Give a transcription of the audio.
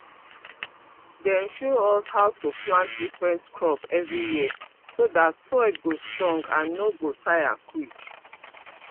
dem show us how to plant different crop every year so that soil go strong and no go tire quick